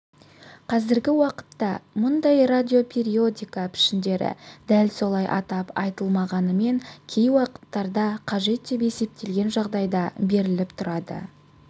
қазіргі уақытта мұндай радиопериодика пішіндері дәл солай атап айтылмағанымен кей уақыттарда қажет деп есептелген жағдайда беріліп тұрады